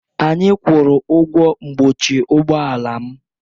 Anyị kwụrụ ụgwọ mkpuchi ụgbọ ala m.